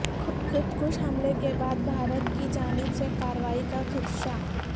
خودکش حملے کے بعد بھارت کی جانب سے کارروائی کا خدشہ